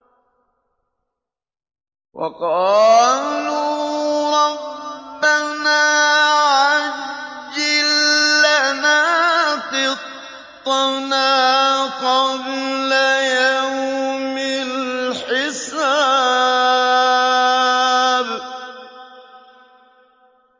وَقَالُوا رَبَّنَا عَجِّل لَّنَا قِطَّنَا قَبْلَ يَوْمِ الْحِسَابِ